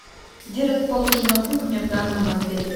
где расположена кухня в данном отеле